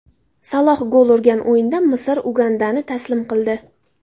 Saloh gol urgan o‘yinda Misr Ugandani taslim qildi .